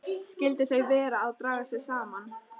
Skyldu þau vera að draga sig saman?